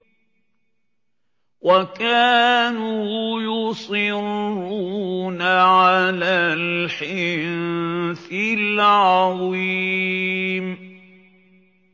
وَكَانُوا يُصِرُّونَ عَلَى الْحِنثِ الْعَظِيمِ